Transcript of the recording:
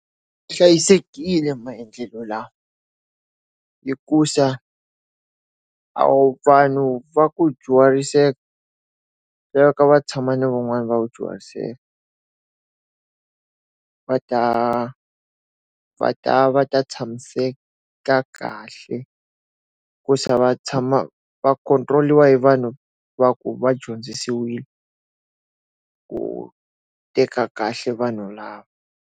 Hlayisekile maendlelo lawa hikusa vanhu va ku dyuhariseka va tshama na van'wana va ku dyuhariseka. Va ta va ta va ta tshamiseka kahle, ku za va tshama va control-iwa hi vanhu va ku va dyondzisiwile ku teka kahle vanhu lava.